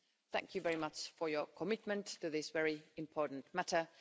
Thank you very much for your commitment to this very important matter.